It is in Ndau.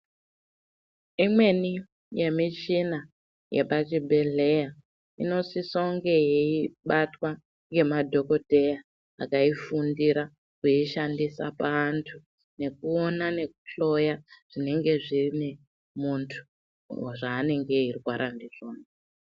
Imweni yemichina yepachibhedhleya inosisa kunge yeibatwa ngemadhokoteya akaifundira kuishandisa paantu nekuona nekuhloya zvinenge zvine muntu zvaanenge eirwara ndizvona.